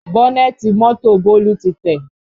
Bọ́nẹ̀tì mọ́tò Bólú tí tẹ̀